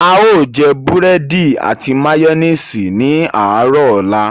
A ó jẹ búrẹ́dì àti màyónésì ní àárọ̀ ọ̀la